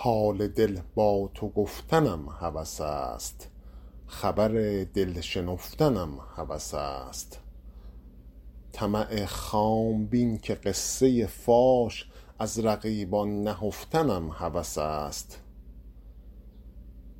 حال دل با تو گفتنم هوس است خبر دل شنفتنم هوس است طمع خام بین که قصه فاش از رقیبان نهفتنم هوس است